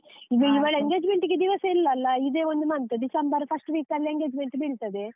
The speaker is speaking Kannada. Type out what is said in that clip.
ಈಗ ಇವಳ engagement ಗೆ ದಿವಸ ಇಲ್ಲ ಅಲ್ಲ, ಇದೆ ಒಂದು month ಡಿಸೆಂಬರ್ first week ಅಲ್ಲಿ engagement ಬೀಳ್ತದೆ.